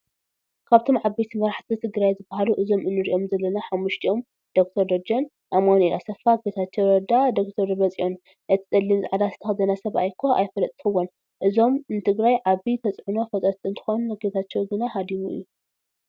ካብቶም ዓበይቲ መራሕቲ ትግራይ ዝበሃሉ እዞም እንሪኦም ዘለና ሓሙስቲኦም ዶ/ር ደጀን፣ ኣማኑኤል ኣሰፋ፣ ጌታቻው ረዳ፣ ዶ/ር ደብረፅዮን እቲ ፀሊም ፃዕዳ ዝተከደነ ሰባይ እኳ ኣይፈለጥኩዎን እዚኦም ንትግራይ ዓብይ ተፅዕኖ ፈጠርቲ እንትኮኑ ጌታቸው ገና ሃዲሙ እዩ።